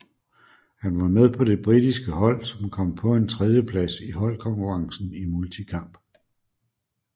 Han var med på det britiske hold som kom på en tredjeplads i holdkonkurrencen i multikamp